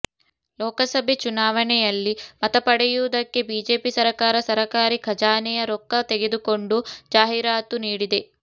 ಲೋಕಸಭೆ ಚುನಾವಣೆಯಲ್ಲಿ ಮತ ಪಡೆಯುವುದಕ್ಕೆ ಬಿಜೆಪಿ ಸರಕಾರ ಸರಕಾರಿ ಖಜಾನೆಯ ರೊಕ್ಕ ತೆಗೆದುಕೊಂಡು ಜಾಹಿರಾತು ನೀಡಿದೆ